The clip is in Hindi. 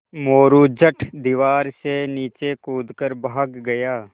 मोरू झट दीवार से नीचे कूद कर भाग गया